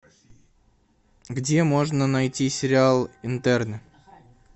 где можно найти сериал интерны